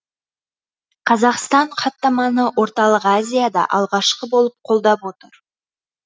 қазақстан хаттаманы орталық азияда алғашқы болып қолдап отыр